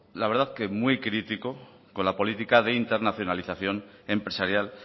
la verdad que muy crítico con la política de internacionalización empresarial